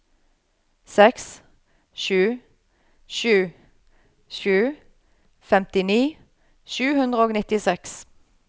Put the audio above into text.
seks sju sju sju femtini sju hundre og nittiseks